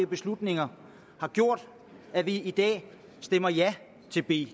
beslutninger har gjort at vi i dag stemmer ja til b